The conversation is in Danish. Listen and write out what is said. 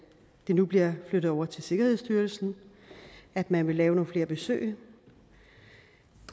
nu bliver flyttet over til sikkerhedsstyrelsen at man vil lave nogle flere besøg